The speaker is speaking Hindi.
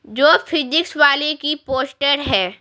जो फिजिक्स वाले की पोस्टर है।